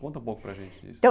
Conta um pouco para a gente isso.